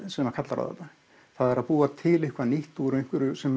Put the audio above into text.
sem kallar á þetta það er að búa til eitthvað nýtt úr einhverju sem